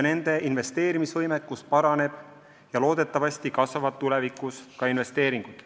Nende investeerimisvõimekus paraneb ja loodetavasti kasvavad tulevikus ka investeeringud.